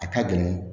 A ka dɔgɔn